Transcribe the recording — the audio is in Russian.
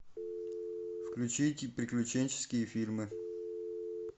включите приключенческие фильмы